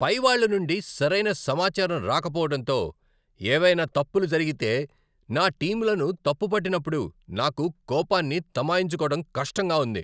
పైవాళ్ళ నుండి సరైన సమాచారం రాకపోవటంతో, ఏవైనా తప్పులు జరిగితే నా టీమ్లను తప్పు పట్టినప్పుడు నాకు కోపాన్ని తమాయించుకోవడం కష్టంగా ఉంది.